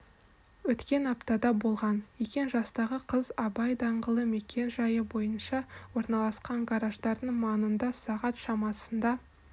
өткен аптада болған екен жастағы қыз абай даңғылы мекен-жайы бойынша орналасқан гараждардың маңында сағат шамасында